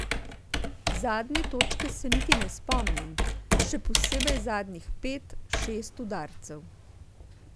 Zadnje točke se niti ne spomnim, še posebej zadnjih pet, šest udarcev.